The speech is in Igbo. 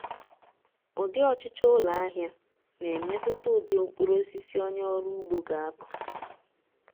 ụdị ọchụchọ ụlọahịa na-emetụta ụdị mkpurụosisi onye ọrụ ugbo ga-akọ